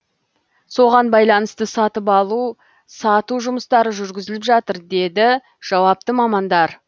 соған байланысты сатып алу сату жұмыстары жүргізіліп жатыр деді жауапты мамандар